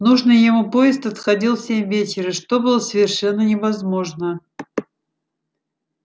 нужный ему поезд отходил в семь вечера что было совершенно невозможно